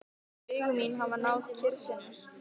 Augu mín hafa náð kyrrð sinni.